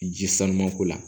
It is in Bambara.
Ji sanuko la